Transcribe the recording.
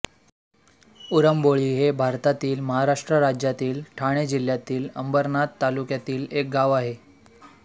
उंबरोळी हे भारतातील महाराष्ट्र राज्यातील ठाणे जिल्ह्यातील अंबरनाथ तालुक्यातील एक गाव आहे